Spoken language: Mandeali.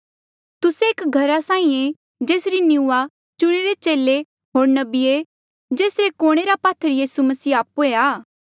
तुस्से एक घरा साहीं ऐें जेसरी निंऊआं चुणिरे चेले होर नबीये जेसरे कुणे रा पात्थर यीसू मसीह आपणे आप आ